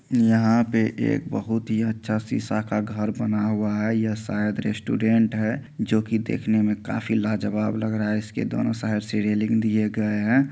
यहाँ पे एक बहुत ही अच्छा शीशा का घर बना हुआ है यह शायद रेस्टोरेंट है जो की देखने में काफी लाजवाब लग रहा है इसके दोनों साइड से रेलिंग दिए गए हैं।